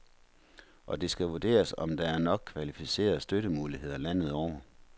Og det skal vurderes, om der er nok kvalificerede støttemuligheder landet over.